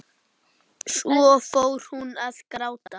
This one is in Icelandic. Svo fór hún að gráta.